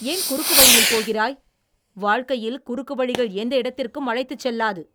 ஏன் குறுக்குவழியில் போகிறாய்? வாழ்க்கையில் குறுக்குவழிகள் எந்த இடத்திற்கும் அழைத்துச் செல்லாது.